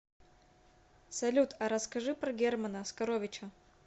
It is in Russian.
салют а расскажи про германа оскаровича